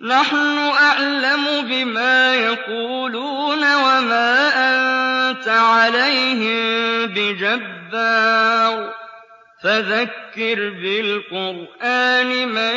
نَّحْنُ أَعْلَمُ بِمَا يَقُولُونَ ۖ وَمَا أَنتَ عَلَيْهِم بِجَبَّارٍ ۖ فَذَكِّرْ بِالْقُرْآنِ مَن